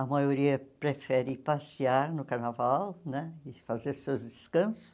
A maioria prefere passear no carnaval né e fazer seus descansos.